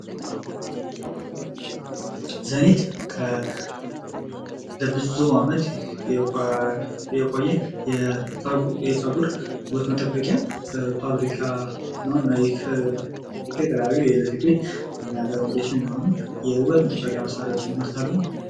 ዘኒት ለብዙ ዓመት የቆየ የፀጉር ውበት መጠበቂያ ፋብሪካ እነዚህ ለወንድና ለሴትም የሚሆኑ የውበት መጠበቂያ መሳሪያወችን ያ መርታሉ።